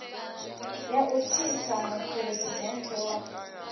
ya u tsitsa muphuresidennde wa